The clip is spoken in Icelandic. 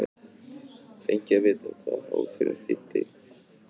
hélt Jón áfram, án þess að hafa fengið að vita hvað hálfrím þýddi.